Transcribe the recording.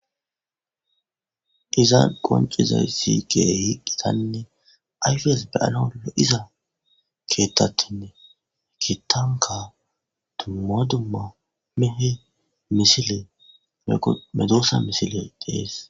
iza qoncizay sige hiqqitanne ayfes be7alo lo7iza keettattinne kitanka dummo dumma mehe misile eqo medoossa misile dees